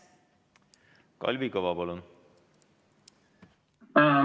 Kalvi Kõva, palun!